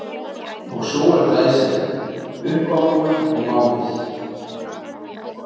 Og sú er glæsileg, uppábúin og máluð!